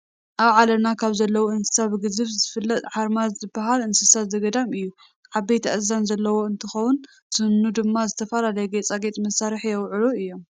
ኣብ ዓለምና ካብ ዘለው እንስሳ ብግዝፋ ዝፍለጥ ሓርማዝ ዝበሃል እንስሳ ዘገዳም እዩ፡፡ ዓበይቲ ኣእዛን ዘለዎ እንትኸውን ስኑ ድማ ንዝተፈላለዩ ጌፃጌፅ መስርሒ ይውዕሉ እዮም፡፡